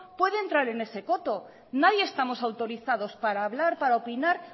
puede entrar en ese coto nadie estamos autorizados para hablar para opinar